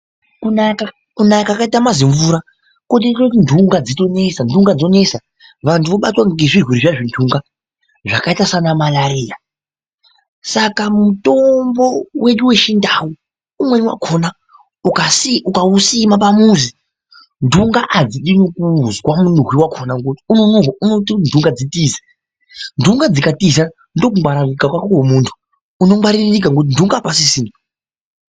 Kunaya kwakaita mazimvura kotoite kuti nhunga dzitonesa /nhunga dzonesa vantu vobatwa ngezvirwere zviya zvenhunga zvakaita saanamarariya saka mutombo wedu wechindau umweni wakona ukausima pamuzi nhunga adzidi nekuuzwa munhuhwi wakona ngokuti unonhuhwa unoite kuti nhunga dzitize ,nhunga dzikatiza ndokungwaririka kwako kwemuntu, unongwaririka ngokuti nhunga apasisina.